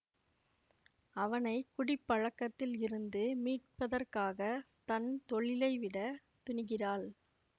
அவனை குடிப்பழக்கத்தில் இருந்து மீட்பதற்காக தன் தொழிலை விட துணிகிறாள்